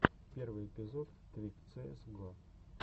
первый эпизод твик цээс го